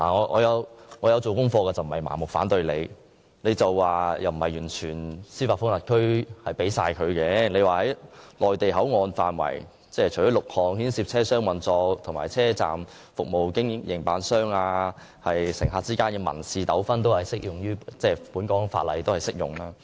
我也曾作出研究，並非盲目反對，據政府表示，港方並非完全將司法管轄權交出，所以在內地口岸範圍，有6種牽涉車廂運作、車站服務營辦及乘客之間民事糾紛的事項，香港法例仍然適用。